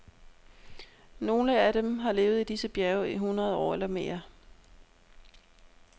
Nogle af dem har levet i disse bjerge i hundrede år eller mere.